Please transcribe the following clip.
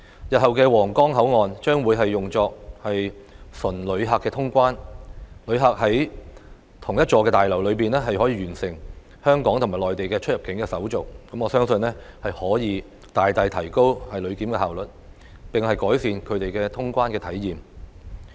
日後的皇崗口岸將會用作純旅客通關，旅客在同一座大樓內就可以完成香港及內地的出入境手續，我相信可以大大提高旅檢效率，並改善他們的通關體驗。